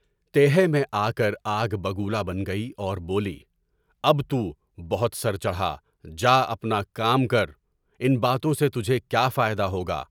تہی میں آکر آگ بگولابن گئی اور بولی، اب تو بہت سر چڑھا، جا اپنا کام کر، ان باتوں سے تجھے کیا فائدہ ہوگا؟